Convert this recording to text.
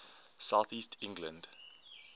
south east england